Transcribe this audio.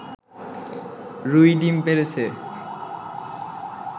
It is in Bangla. রুই ডিম পেড়েছে